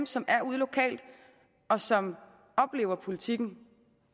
som er derude lokalt og som oplever politikken